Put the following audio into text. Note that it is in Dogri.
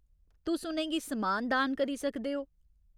तुस उ'नें गी समान दान करी सकदे ओ।